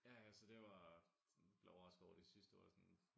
Ja ja så det var lidt overrasket over de sidste var sådan